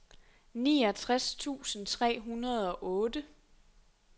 niogtres tusind tre hundrede og otte